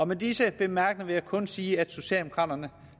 med disse bemærkninger vil jeg kun sige at socialdemokraterne